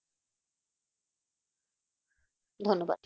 ধন্যবাদ